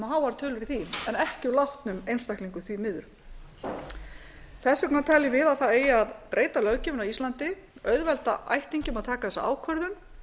háar tölur í því en ekki úr látnum einstaklingum því miður þess vegna teljum við að það eigi að breyta löggjöfinni á íslandi auðvelda ættingjum að taka þessa ákvörðun